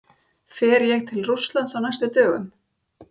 Fer ég til Rússlands á næstu dögum?